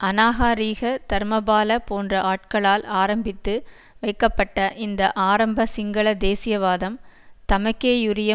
அநாகாரிக தர்மபால போன்ற ஆட்களால் ஆரம்பித்து வைக்கப்பட்ட இந்த ஆரம்ப சிங்கள தேசியவாதம் தமக்கேயுரிய